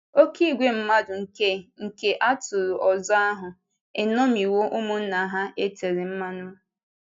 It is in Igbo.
Oké ìgwè mmadụ nke nke atụrụ ọzọ ahụ eṅomiwo ụmụnna ha e tere mmanụ.